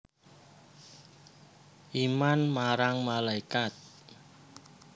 Iman marang malaikat